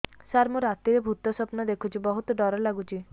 ସାର ମୁ ରାତିରେ ଭୁତ ସ୍ୱପ୍ନ ଦେଖୁଚି ବହୁତ ଡର ଲାଗୁଚି